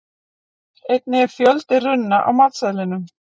einnig er fjöldi runna á matseðlinum